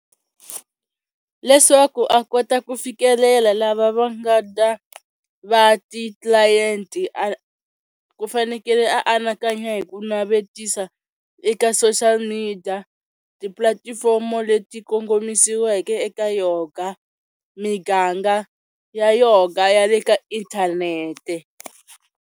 Leswaku a kota ku fikelela lava va nga ta va ti-client-i ku fanekele a anakanya hi ku navetisa eka social media tipulatifomo leti kongomisiweke eka yoga miganga ya yoga ya le ka inthanete.